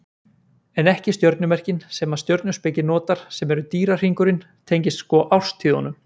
En ekki stjörnumerkin sem að stjörnuspeki notar sem eru dýrahringurinn tengist sko árstíðunum.